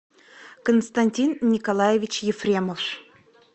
константин николаевич ефремов